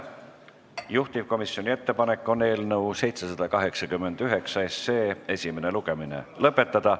Juhtivkomisjoni ettepanek on eelnõu 789 esimene lugemine lõpetada.